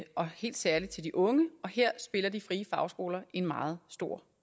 og helt særligt til de unge og her spiller de frie fagskoler en meget stor